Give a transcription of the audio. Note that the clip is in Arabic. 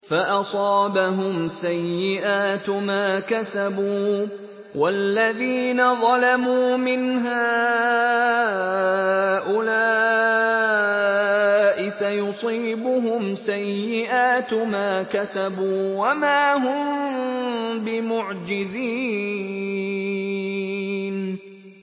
فَأَصَابَهُمْ سَيِّئَاتُ مَا كَسَبُوا ۚ وَالَّذِينَ ظَلَمُوا مِنْ هَٰؤُلَاءِ سَيُصِيبُهُمْ سَيِّئَاتُ مَا كَسَبُوا وَمَا هُم بِمُعْجِزِينَ